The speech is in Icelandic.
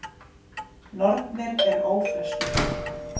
Nornir eru ófreskjur.